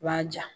U b'a ja